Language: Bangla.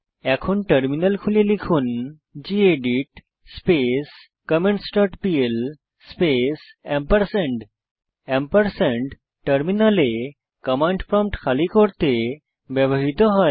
এখন টার্মিনাল খুলে লিখুন gedit space comments dot P L space ampersand টার্মিনালে কমান্ড প্রম্পট খালি করতে ব্যবহৃত হয়